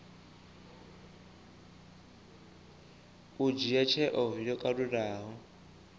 u dzhia tsheo yo kalulaho